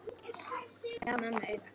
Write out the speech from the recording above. Gaf mömmu auga.